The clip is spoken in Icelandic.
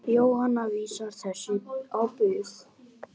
Jóhanna vísar þessu á bug.